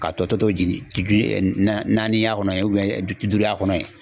Ka tɔ to jigi na naani y'a kɔnɔ bi duuru a kɔnɔ ye